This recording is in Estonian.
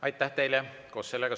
Aitäh teile!